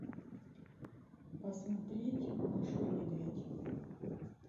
посмотреть машу и медведь